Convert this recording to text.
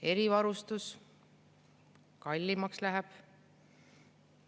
Erivarustus – kallimaks läheb.